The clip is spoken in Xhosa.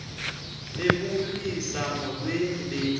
bebulisa molweni bethuna